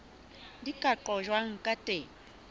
di ka qojwang ka teng